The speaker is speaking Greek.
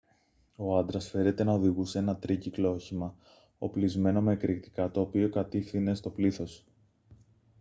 ο άντρας φέρεται να οδηγούσε ένα τρίκυκλο όχημα οπλισμένο με εκρηκτικά το οποίο κατηύθυνε στο πλήθος